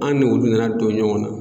An n'olu nana don ɲɔgɔn na.